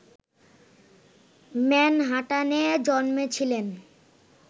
ম্যানহাটানে জন্মেছিলেন